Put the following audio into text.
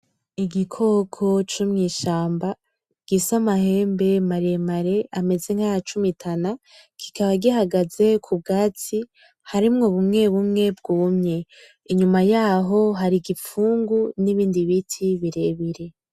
Igikoko co mwishamba gifise amahembe maremare ameze nkaya cumitana kikaba gihagaze kubwatsi harimwo bumwe bumwe bwumye iyuma yaho. Hari igifungu nibindi biti birebire.